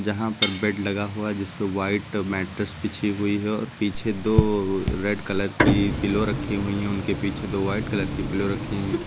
जहां पर बेड लगा हुआ जिसपे व्हाइट मैट्ट्रेस बिछी हुई है और पीछे दो रेड कलर की पीलो रखी हुई हैं। उनके पीछे दो व्हाइट कलर की पीलो रखी हैं।